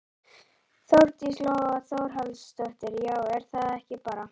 Þórdís Lóa Þórhallsdóttir: Já er það ekki bara?